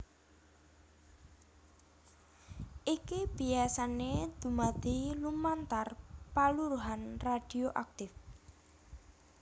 Iki biyasané dumadi lumantar paluruhan radhioaktif